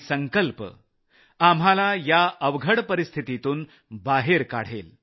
संकल्प आपल्याला या अवघड स्थितीतून बाहेर काढेल